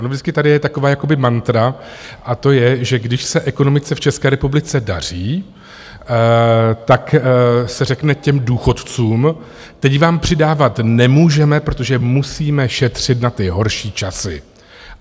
Ono vždycky je tady taková jakoby mantra, a to je, že když se ekonomice v České republice daří, tak se řekne těm důchodcům: Teď vám přidávat nemůžeme, protože musíme šetřit na ty horší časy.